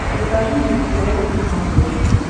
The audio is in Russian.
покажи мне стс на смотрешке